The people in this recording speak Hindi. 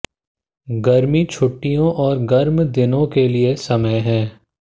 गर्मी छुट्टियों और गर्म दिनों के लिए समय है